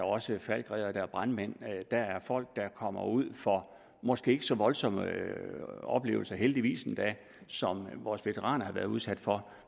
også falckreddere brandmænd der er folk der kommer ud for måske ikke så voldsomme oplevelser heldigvis endda som vores veteraner har været udsat for